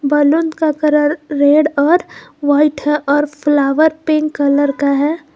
Balloon का colour red और white है और फ्लावर पिंक कलर का है।